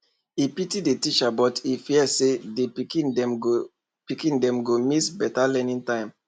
e pity the teachers but e dey fear say the pikin dem go pikin dem go miss better learning time